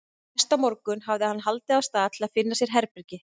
Næsta morgun hafði hann haldið af stað til að finna sér herbergi.